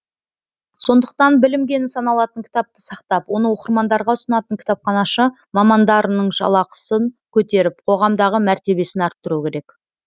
сондықтан білім кені саналатын кітапты сақтап оны оқырмандарға ұсынатын кітапханашы мамандарының жалақысын көтеріп қоғамдағы мәртебесін арттыру керек